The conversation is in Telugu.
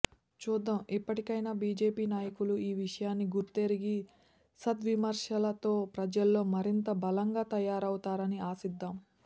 చూద్దాం ఇప్పటికైనా బీజేపీ నాయకులు ఈ విషయాన్ని గుర్తెరిగి సద్విమర్శలతో ప్రజల్లో మరింత బలంగా తయారవుతారని ఆశిద్దాం